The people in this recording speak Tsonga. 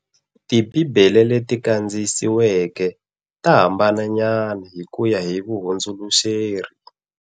Ti Bibele leti kandziyisiweke ta hambana nyana hi kuya hi vuhundzuluxeri.